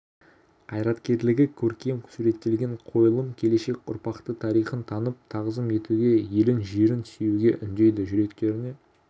қайраткерлігі көркем суреттелген қойылым келешек ұрпақты тарихын танып тағзым етуге елін жерін сүюге үндейді жүректеріне